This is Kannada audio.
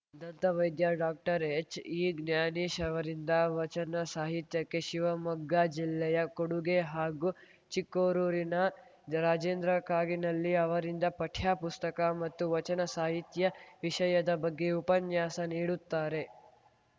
ದಂತ ವೈದ್ಯಡಾಕ್ಟರ್ಹೆಚ್‌ಇಜ್ಞಾನೇಶ್‌ ಅವರಿಂದ ವಚನ ಸಾಹಿತ್ಯಕ್ಕೆ ಶಿವಮೊಗ್ಗ ಜಿಲ್ಲೆಯ ಕೊಡುಗೆ ಹಾಗೂ ಚಿಕ್ಕೋರೂರಿನ ರಾಜೇಂದ್ರ ಕಾಗಿನಲ್ಲಿ ಅವರಿಂದ ಪಠ್ಯ ಪುಸ್ತಕ ಮತ್ತು ವಚನ ಸಾಹಿತ್ಯವಿಷಯದ ಬಗ್ಗೆ ಉಪನ್ಯಾಸ ನೀಡುತ್ತಾರೆ